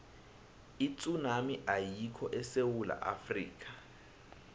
itsunami ayikho esewula afrika